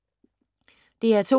DR P2